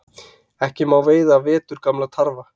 Ekki má veiða veturgamla tarfa